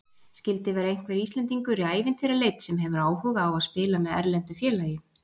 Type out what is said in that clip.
Skildi vera einhver Íslendingur í ævintýraleit sem hefur áhuga á að spila með erlendu félagi?